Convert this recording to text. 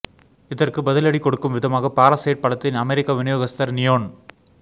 இதற்கு பதிலடி கொடுக்கும் விதமாக பாராசைட் படத்தின் அமெரிக்க விநியோகஸ்தர் நியோன்